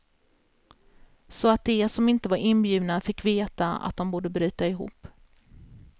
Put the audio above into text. Så att de som inte var inbjudna fick veta att de borde bryta ihop.